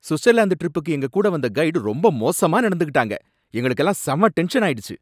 Switzerland ட்ரிப்புக்கு எங்க கூட வந்த கைட் ரொம்ப மோசமா நடந்துக்கிட்டாங்க எங்களுக்கெல்லாம் செம டென்ஷனாயிடுச்சு.